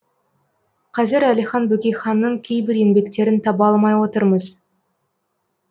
қазір әлихан бөкейханның кейбір еңбектерін таба алмай отырмыз